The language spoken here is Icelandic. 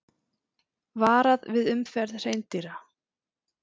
Varað við umferð hreindýra